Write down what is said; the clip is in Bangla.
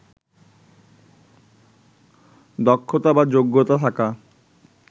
দক্ষতা বা যোগ্যতা থাকা